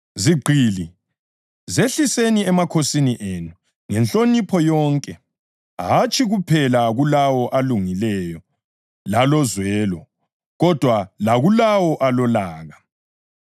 Zigqili, zehliseni emakhosini enu ngenhlonipho yonke, hatshi kuphela kulawo alungileyo lalozwelo, kodwa lakulawo alolaka.